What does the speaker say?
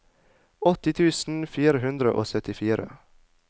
åtti tusen fire hundre og syttifire